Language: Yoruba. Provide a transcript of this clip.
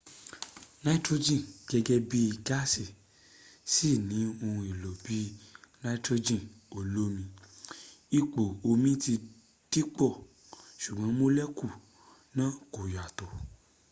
nitrogen gẹ́gẹ́ bí gáàsì ṣì ní ohun èlò bí i nitrogen olómi ipò omi ti dìpọ̀ ṣùgbọ́n molecule náà kò yàtọ